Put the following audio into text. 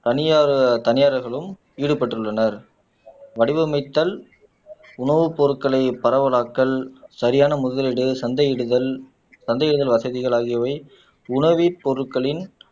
தனியார் தனியார்களும் ஈடுபட்டுள்ளனர் வடிவமைத்தல் உணவுப் பொருட்களை பரவலாக்கல் சரியான முதலீடு சந்தையிடுதல் சந்தையிடுதல் வசதிகள் ஆகியவை உணவின் பொருட்களின்